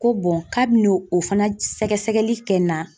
Ko k'a biɛn'o fana sɛgɛsɛgɛli kɛ n na